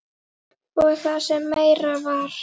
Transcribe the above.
Og það sem meira var.